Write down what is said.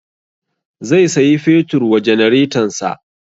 Zai sayi fetur wa janaretansa